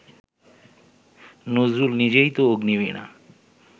নজরুল নিজেই তো অগ্নিবীণা